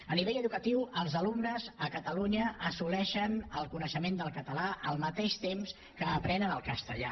a nivell educatiu els alumnes a catalunya assoleixen el coneixement del català al mateix temps que aprenen el castellà